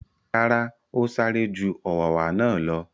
Rárá, ó sáré ju u ọ̀wàwà náà lọ.